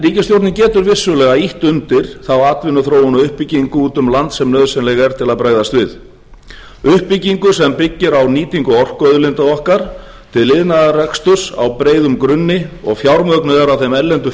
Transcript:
ríkisstjórnin getur vissulega ýtt undir þá atvinnuþróun og uppbyggingu úti um land sem nauðsynleg er til að bregðast við uppbyggingu sem byggir á nýtingu orkuauðlinda okkar til iðnaðarreksturs á breiðum grunni og fjármögnuð er af þeim erlendu